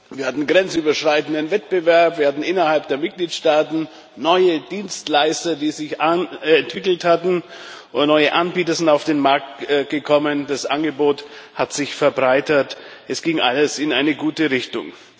Wir hatten grenzüberschreitenden Wettbewerb, wir hatten innerhalb der Mitgliedstaaten neue Dienstleister, die sich entwickelt hatten, neue Anbieter sind auf den Markt gekommen, das Angebot hat sich verbreitert es ging alles in eine gute Richtung.